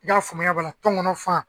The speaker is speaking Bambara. y'a faamuyab'a la tɔngɔnɔ fan.